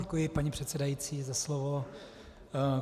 Děkuji, paní předsedající, za slovo.